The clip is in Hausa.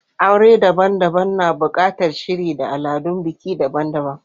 Aure daban-daban na buƙatar shiri da al'adun biki daban-daban.